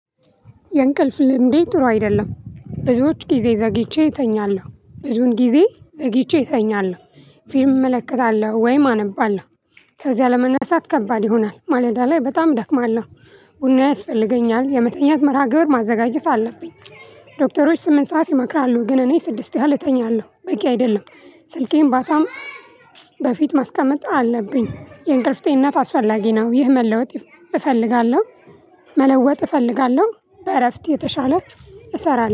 የእንቅልፍ ልምዴ ጥሩ አይደለም ብዙዎች ጊዜ ዘግይቼ እተኛለሁ ብዙን ጊዜ ዘግይቼ እተኛለሁ። ፊልም እመለከታለሁ ወይም አነባለሁ። ከዚያ ለመነሳት ከባድ ይሆናል ማለዳ ላይ በጣም እደክማለሁ። ቡና ያስፈልገኛል የመተኛት መርሃ ግብር ማዘጋጀት አለብኝ። ዶክተሮች ስምንት ሰዓት ይመክራሉ ግን እኔ ስድስት ያህል እጠኛለሁ በቂ አይደለም። ስልኬን ማታም በፊት ማስቀመጥ አለብኝ የእንቅልፍ ጤንነት አስፈላጊ ነው። ይህ መለወጥ እፈልጋለሁ። መለወጥ እፈልጋለሁ በእረፍት የተሻለ እሰራለሁ